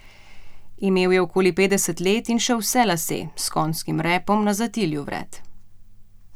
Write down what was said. Imel je okoli petdeset let in še vse lase, s konjskim repom na zatilju vred.